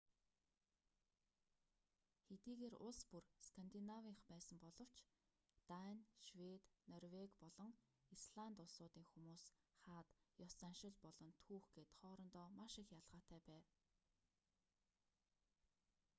хэдийгээр улс бүр скандинавынх байсан боловч дани швед норвеги болон исланд улсуудын хүмүүс хаад ёс заншил болон түүх гээд хоорондоо маш их ялгаатай байв